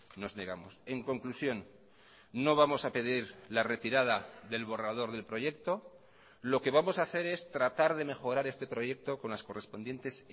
nos negamos en conclusión no vamos a pedir la retirada del borrador del proyecto lo que vamos a hacer es tratar de mejorar este proyecto con las correspondientes